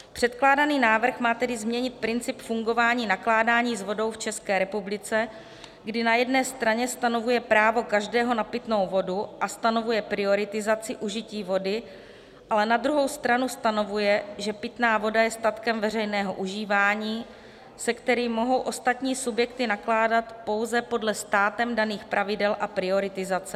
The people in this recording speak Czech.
Předkládaný návrh má tedy změnit princip fungování nakládání s vodou v České republice, kdy na jedné straně stanovuje právo každého na pitnou vodu a stanovuje prioritizaci užití vody, ale na druhou stranu stanovuje, že pitná voda je statkem veřejného užívání, se kterým mohou ostatní subjekty nakládat pouze podle státem daných pravidel a prioritizace.